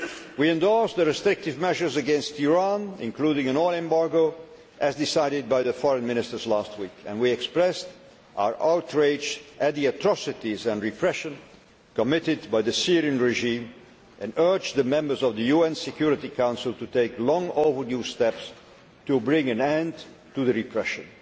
January. We endorsed the restrictive measures against Iran, including an oil embargo, as decided by the Foreign Ministers last week, and we expressed our outrage at the atrocities and repression committed by the Syrian regime, and urged the members of the UN Security Council to take long overdue steps to bring an end to the repression.